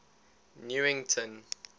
newington